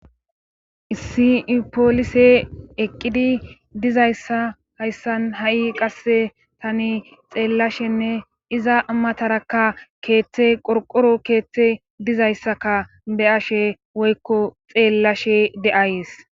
Issi poolise eqqidi dizayssa hayssan ha7i qasse xeellashenne iza matarakka keethe qorqqoro keethe dizaysssakka be7ashe woykko xeelashe de7ays.